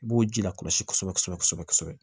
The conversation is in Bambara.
I b'o ji lakɔlɔsi kosɛbɛ kosɛbɛ kosɛbɛ kosɛbɛ kosɛbɛ